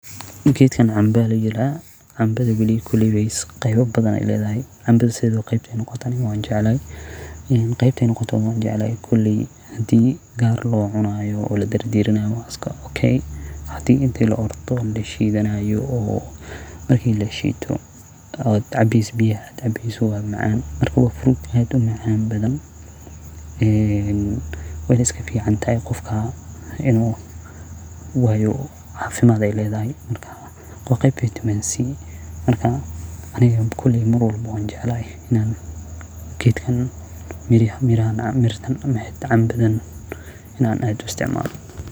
Geedkan camba la yiraa, cambada qebab badhan aya ledhay, cambada qebta noqotoba wanjeclahay; koley hadii kaar locunayo hadii ladirdiiranayo waa iska okey hadii lashiidanayo oo la cabayo sii fruit aad umacan badhan, cambada way iskaficaantahay wayo cafimad ay ledhay marka waa qeyb Vitamin C marka aniga koley wanjeclahay geedkan cambaha ina isticmalo.